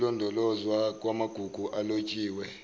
ukulondolozwa kwamagugu alotshiwe